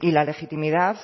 y la legitimidad